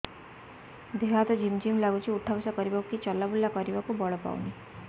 ଦେହେ ହାତ ଝିମ୍ ଝିମ୍ ଲାଗୁଚି ଉଠା ବସା କରିବାକୁ କି ଚଲା ବୁଲା କରିବାକୁ ବଳ ପାଉନି